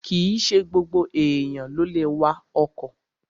Kìíse gbogbo èèyàn ló lè wa ọkọ̀